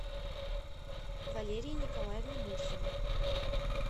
валерии николаевне мурзиной